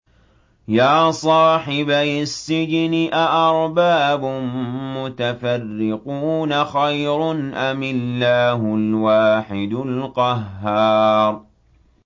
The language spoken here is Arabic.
يَا صَاحِبَيِ السِّجْنِ أَأَرْبَابٌ مُّتَفَرِّقُونَ خَيْرٌ أَمِ اللَّهُ الْوَاحِدُ الْقَهَّارُ